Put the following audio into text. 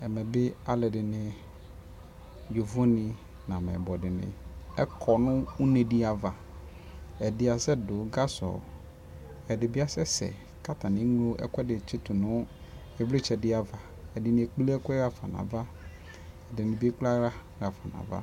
ɛmɛ bi alʋɛdini, yɔvɔ ni nʋ amɛyibɔ dini kɔnʋ ʋnɛ di aɣa ,ɛdi asɛ dʋ gazɔ, ɛdibi asɛsɛ kʋ atani ɛmlɔ ɛkʋɛdi tsitʋ nʋ ivlitsɛ di aɣa kʋɛkplɛ ɛkʋɛ haƒa nʋ aɣa, ɛdinibiɛkplɛ ala hafa nʋ aɣa